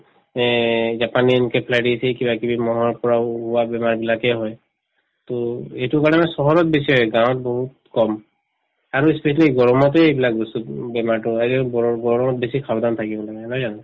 এই japanese encephalitis এই কিবাকিবি মহৰ পৰা ওলোৱা বেমাৰবিলাকে হয় to এইটোৰ কাৰণে মানে চহৰত গাঁৱত বহুত কম আৰু specially গৰমতে এইবিলাক বস্তু উম বেমাৰতো হয় গৰম গৰমত বেছি সাৱধান থাকিব লাগে নহয় জানো